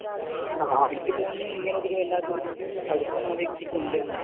എനിക്ക് തോന്നുന്നു നിങ്ങളോടൊരു വല്ലാത്തൊരു അടുപ്പം ആ വ്യക്തിക്കുണ്ട് എന്നതാണ്,